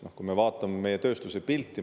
Vaatame meie tööstuse pilti.